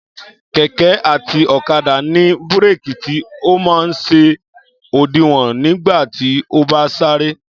Kẹ̀kẹ́ àti ọ̀kadà ní búrèkì tí ọ man ṣe òdiwọ̀n nígbà tí o bá ń sàrẹ.